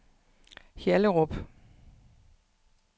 Hjallerup